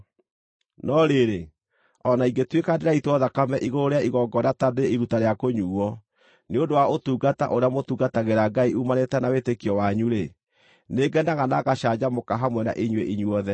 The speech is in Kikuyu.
No rĩrĩ, o na ingĩtuĩka ndĩraitwo thakame igũrũ rĩa igongona ta ndĩ iruta rĩa kũnyuuo, nĩ ũndũ wa ũtungata ũrĩa mũtungatagĩra Ngai uumanĩte na wĩtĩkio wanyu-rĩ, nĩ ngenaga na ngacanjamũka hamwe na inyuĩ inyuothe.